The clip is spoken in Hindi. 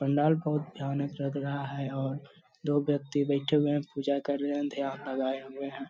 पंडाल बहोत भयानक लग रहा है और दो व्यक्ति बैठे हुए हैं। पूजा कर रहे हैं ध्यान लगाए हुए है।